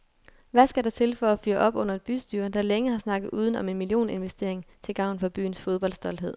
Hvad skal der til for at fyre op under et bystyre, der længe har snakket uden om en millioninvestering til gavn for byens fodboldstolthed?